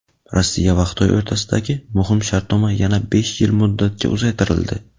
Rossiya va Xitoy o‘rtasidagi muhim shartnoma yana besh yil muddatga uzaytirildi.